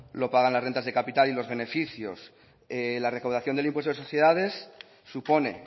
lo pagan las rentas de capital y los beneficios la recaudación del impuesto de sociedades supone